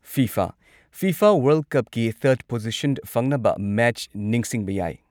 FIFA FIFA world ꯀꯞꯀꯤ third position ꯐꯪꯅꯕ match ꯅꯤꯡꯁꯤꯡꯕ ꯌꯥꯢ